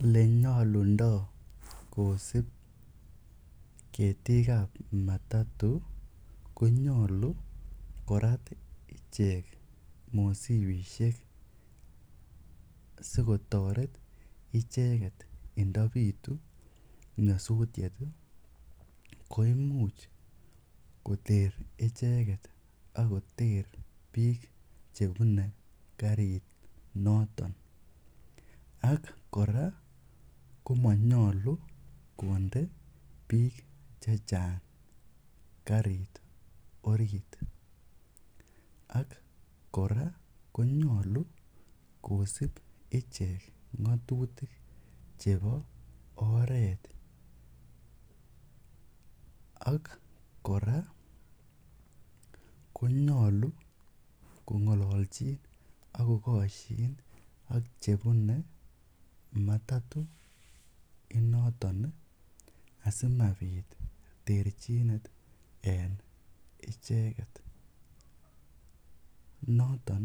Ole nyalundai kosup ketiik ap matatu ko nyalu korat icheget mosipishek asikotaret icheget indapitu nyasutiet ko imuch koter icheget ak koter piik che pune karit noton. Ak kora ko maynalu konde piik che chang' kariit orit. Ak kora ko nyalu kosup ichek ng'atutik chepo oreet. Ak kora ko nyalu kong'alalchin ak kokashin ak chepune matatu inoton asimapit terchinet en icheget, noton